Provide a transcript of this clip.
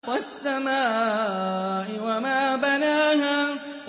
وَالسَّمَاءِ وَمَا بَنَاهَا